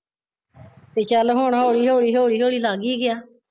ਤੇ ਚੱਲ ਹੁਣ ਹੋਲੀ ਹੋਲੀ ਹੋਲੀ ਹੋਲੀ ਲੱਗ ਈ ਗਯਾ